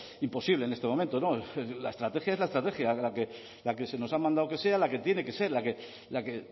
imposible en este momento no la estrategia es la estrategia la que se nos ha mandado que sea la que tiene que ser la que